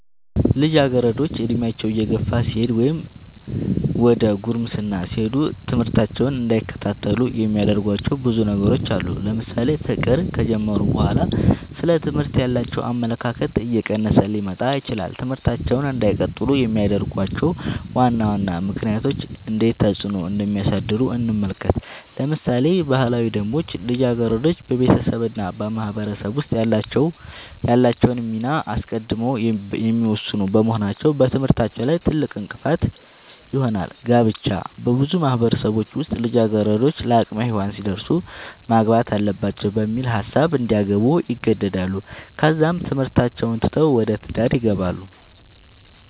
ልጃገረዶች ዕድሜያቸው እየገፋ ሲሄድ ወይም ዘደ ጉርምስና ሲሄዱ ትምህርታቸውን እንዳይከታተሉ የሚያደርጉዋቸው ብዙ ነገሮች አሉ ለምሳሌ ፍቅር ከጀመሩ በኋላ ስለ ትምህርት ያላቸው አመለካከት እየቀነሰ ሊመጣ ይችላል ትምህርታቸውን እንዳይቀጥሉ የሚያደርጉዋቸው ዋና ዋና ምክንያቶች እንዴት ተፅዕኖ እንደሚያሳድሩ እንመልከት ለምሳሌ ባህላዊ ደንቦች ልጃገረዶች በቤተሰብ እና በማህበረሰብ ውስጥ ያላቸውን ሚና አስቀድመው የሚወስኑ በመሆናቸው በትምህርታቸው ላይ ትልቅእንቅፋት ይሆናል። ጋብቻ- በብዙ ማህበረሰቦች ውስጥ ልጃገረዶች ለአቅመ ሄዋን ሲደርሱ ማግባት አለባቸው በሚል ሀሳብ እንዲያገቡ ይገደዳሉ ከዛም ትምህርታቸውን ትተው ወደ ትዳር ይገባሉ።